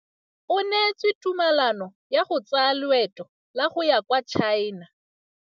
O neetswe tumalanô ya go tsaya loetô la go ya kwa China.